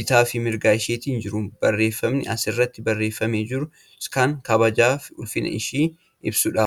bitaafi mirga isheetiin jiru. Barreeffamni as irratti barreeffamee jirus kan kabajaafi ulfina ishee ibsudha.